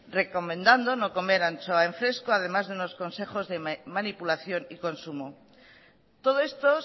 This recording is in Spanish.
recomendando no comer anchoa en fresco además de unos consejos de manipulación y consumo todo esto